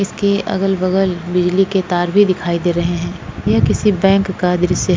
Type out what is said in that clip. इसके अगल बगल बिजली के तार भी दिखाई दे रहे हैं यह किसी बैंक का दृश्य --